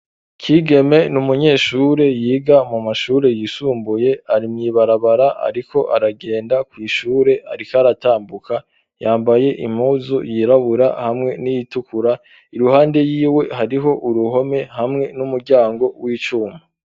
Kigeme n'umunyeshure yiga mu mashure yisumbuye ari mwibarabara ariko aragenda kw'ishure ariko aratambuka yambaye impuzu yirabura hamwe n'itukura iruhande yiwe hariho uruhome hamwe n'umuryango w'icuma.